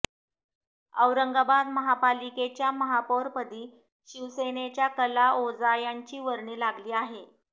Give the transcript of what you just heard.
औरंगाबाद महापालिकेच्या महापौरपदी शिवसेनेच्या कला ओझा यांची वर्णी लागली आहे